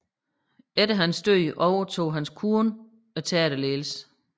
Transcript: Efter hans død overtog hans kone teaterledelsen